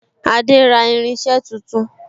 Adé ń ra irinse tuntun